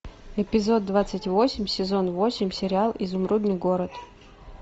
эпизод двадцать восемь сезон восемь сериал изумрудный город